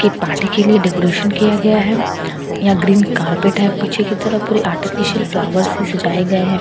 की पार्टी के लिए डेकोरेशन किया गया है यहाँ ग्रीन कार्पेट है पीछे की तरफ पूरे आर्टिफिशियल फ्लावर से पूरा सजाय गया है पिंक --